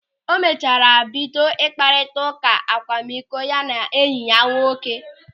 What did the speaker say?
O mechara bido mkparịta ụka akwamikọ ya na enyi ya nwoke.